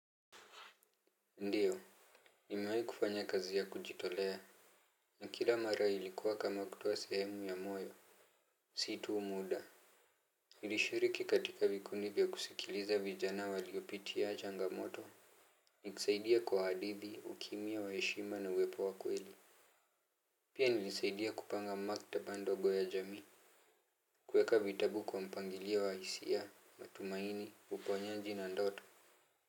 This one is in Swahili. Ndiyo. Nimewai kufanya kazi ya kujitolea. Na kila mara ilikuwa kama kutoa sehemu ya moyo. Si tu muda nilishiriki katika vikundi vya kusikiliza vijana waliopitia changamoto. Nikusaidie kwa hadithi, ukimya wa heshima na uwepo wa kweli. Pia nilisaidia kupanga maktaba ndogo ya jamii. Kuweka vitabu kwa mpangilia wa hisia, matumaini, uponyaji na ndoto.